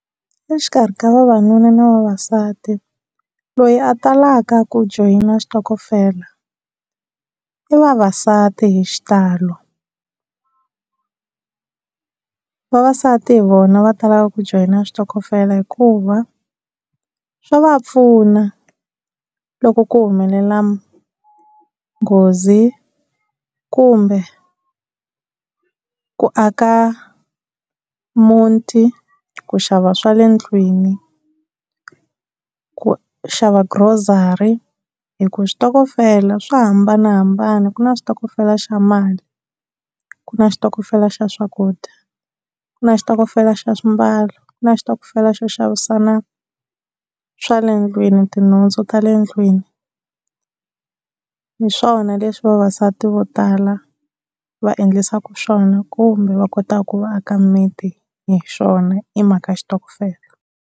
Exikarhi ka vavanuna na vavasati loyi a talaka ku joyina xitokofela i vavasati hi xitalo, vavasati hi vona va talaka ku joyina switokofela hikuva swa va pfuna loko ku humelela nghozi kumbe ku aka muti, ku xava swa le ndlwini, ku xava grocery hi ku switokofela swa hambanahambana. Ku na switokofela xa mali, ku na xitokofela xa swakudya, ku na xitokofela xa swimbalo, ku na xitokofela xo xavisana swa le ndlwini tinhundzu ta le ndlwini. Hi swona leswi vavasati vo tala va endlisaka swona kumbe va kotaka ku va aka miti hi swona i mhaka xitokofela.